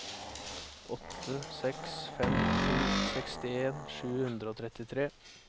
åtte seks fem sju sekstien sju hundre og trettitre